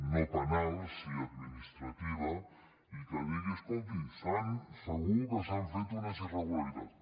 no penal sí administrativa i que digui escolti segur que s’han fet unes irregu·laritats